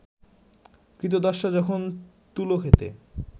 ক্রীতদাসরা যখন তুলো ক্ষেতে